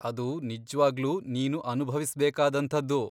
ಅದು ನಿಜ್ವಾಗ್ಲೂ ನೀನು ಅನುಭವಿಸ್ಬೇಕಾದಂಥದ್ದು.